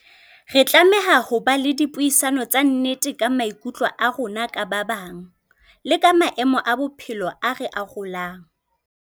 Re tlameha ho ba le dipuisano tsa nnete ka maikutlo a rona ka ba bang, le ka maemo a bophelo a re arolang.